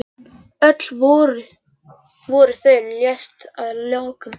Öll voru þau leyst að lokum.